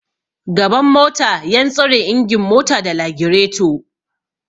Gaban mota yan tsare ingin mota da lagireto